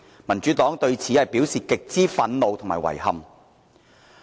民主黨對此表示極之憤怒和遺憾。